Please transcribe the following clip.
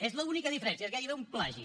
és l’única diferència és gairebé un plagi